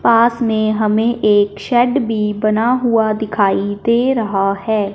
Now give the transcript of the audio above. पास में हमें एक शेड भी बना हुआ दिखाई दे रहा है।